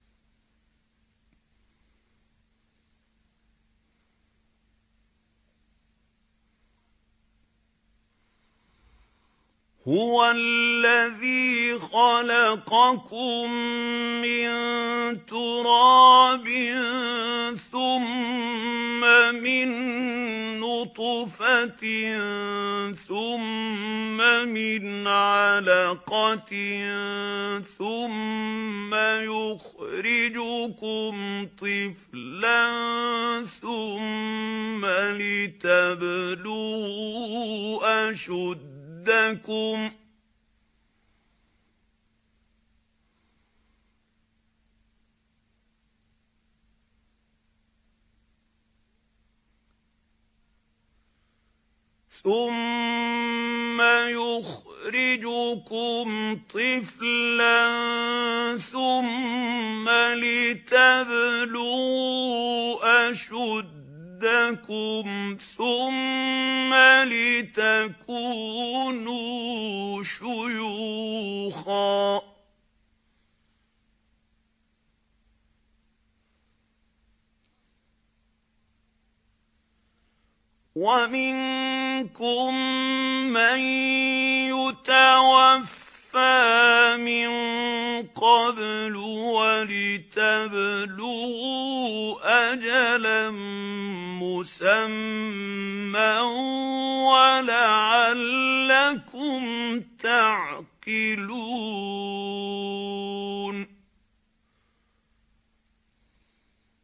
هُوَ الَّذِي خَلَقَكُم مِّن تُرَابٍ ثُمَّ مِن نُّطْفَةٍ ثُمَّ مِنْ عَلَقَةٍ ثُمَّ يُخْرِجُكُمْ طِفْلًا ثُمَّ لِتَبْلُغُوا أَشُدَّكُمْ ثُمَّ لِتَكُونُوا شُيُوخًا ۚ وَمِنكُم مَّن يُتَوَفَّىٰ مِن قَبْلُ ۖ وَلِتَبْلُغُوا أَجَلًا مُّسَمًّى وَلَعَلَّكُمْ تَعْقِلُونَ